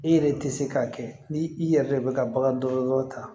I yɛrɛ tɛ se k'a kɛ ni i yɛrɛ de bɛ ka bagan dɔgɔtɔrɔ ta